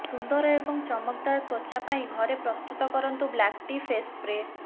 ସୁନ୍ଦର ଏବଂ ଚମକଦାର ତ୍ୱଚା ପାଇଁ ଘରେ ପ୍ରସ୍ତୁତ କରନ୍ତୁ ବ୍ଲାକ୍ ଟି ଫେସ୍ ସ୍ପ୍ରେ